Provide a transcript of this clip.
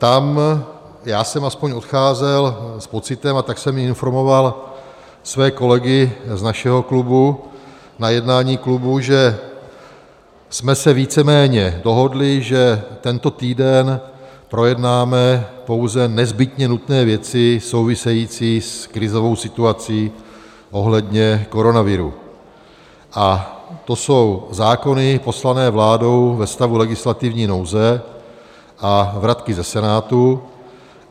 Tam já jsem aspoň odcházel s pocitem, a tak jsem i informoval své kolegy z našeho klubu na jednání klubu, že jsme se víceméně dohodli, že tento týden projednáme pouze nezbytně nutné věci související s krizovou situací ohledně koronaviru, a to jsou zákony poslané vládou ve stavu legislativní nouze a vratky ze Senátu.